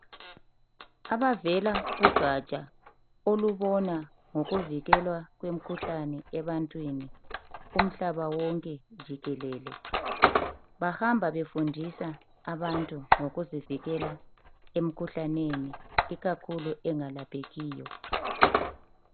Abavela kugatsha olubona ngokuvikelwa kwemikhuhlane ebantwini kumhlaba wonke jikelele bahamba befundisa abantu ngokuzivikela emkhuhlaneni ikakhulu engalaphekiyo.